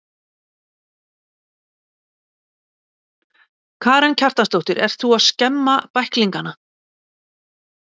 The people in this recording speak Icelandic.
Karen Kjartansdóttir: Ert þú að skemma bæklingana?